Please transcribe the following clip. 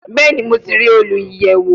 Bẹẹni, Mo ti rii oluyẹwo